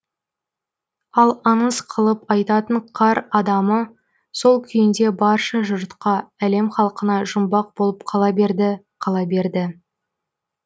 ал аңыз қылып айтатын қар адамы сол күйінде барша жұртқа әлем халқына жұмбақ болып қала берді қала берді